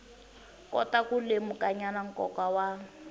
kota ku lemukanyana nkoka wa